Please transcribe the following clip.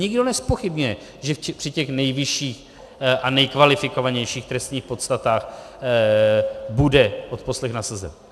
Nikdo nezpochybňuje, že při těch nejvyšších a nejkvalifikovanějších trestních podstatách bude odposlech nasazen.